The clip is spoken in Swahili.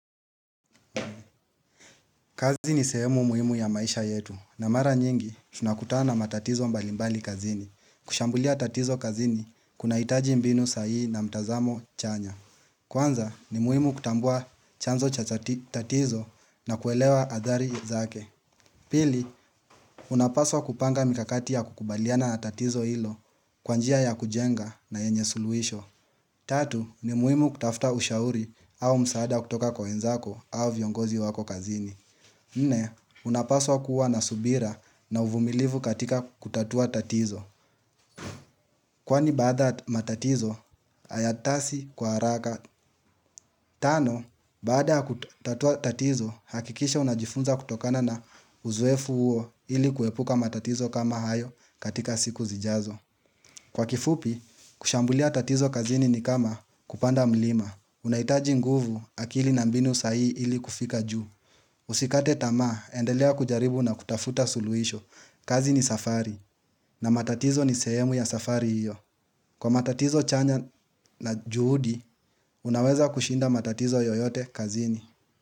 Kazi ni sehemu muhimu ya maisha yetu. Na mara nyingi tunakutana na matatizo mbalimbali kazini. Kushambulia tatizo kazini kuna hitaji mbinu sahihi na mtazamo chanya. Kwanza ni muhimu kutambua chanzo cha tatizo na kuelewa adhari zake. Pili, unapaswa kupanga mikakati ya kukubaliana na tatizo ihlo kwa njia ya kujenga na yenye suluhisho. Tatu, ni muhimu kutafuta ushauri au msaada kutoka kwa wenzako au viongozi wako kazini. Nne, unapaswa kuwa na subira na uvumilivu katika kutatua tatizo. Kwani baada matatizo, hayatasi kwa haraka. Tano, baada ya kutatua tatizo, hakikisha unajifunza kutokana na uzoefu huo ili kuepuka matatizo kama hayo katika siku zijazo. Kwa kifupi, kushambulia tatizo kazini ni kama kupanda mlima. Unahitaji nguvu akili na mbinu sahihi ili kufika juu. Usikate tama, endelea kujaribu na kutafuta suluhisho. Kazi ni safari, na matatizo ni sehemu ya safari hiyo. Kwa matatizo chanya na juhudi, unaweza kushinda matatizo yoyote kazini.